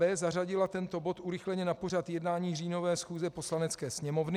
b) zařadila tento bod urychleně na pořad jednání říjnové schůze Poslanecké sněmovny.